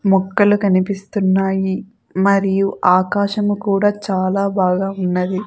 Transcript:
మొక్కలు కనిపిస్తున్నాయి మరియు ఆకాశము కూడా చాలా బాగా ఉన్నది.